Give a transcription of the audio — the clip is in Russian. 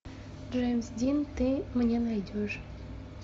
джеймс дин ты мне найдешь